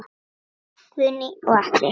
Guðný og Atli.